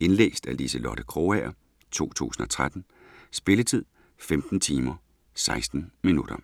Indlæst af Liselotte Krogager, 2013. Spilletid: 15 timer, 16 minutter.